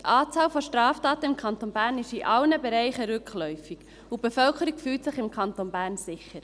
Die Anzahl Straftaten ist im Kanton Bern in allen Bereichen rückläufig, und die Bevölkerung fühlt sich im Kanton Bern sicher.